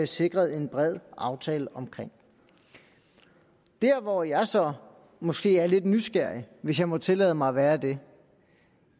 sikret en bred aftale omkring der hvor jeg så måske er lidt nysgerrig hvis jeg må tillade mig at være det